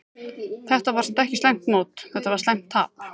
Þetta var samt ekki slæmt mót, þetta var slæmt tap.